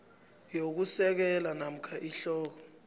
yokusekela namkha ihloko